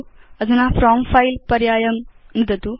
अधुना from file पर्यायं नुदतु